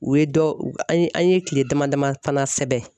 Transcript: U ye dɔ an ye an ye kile dama daman sɛbɛn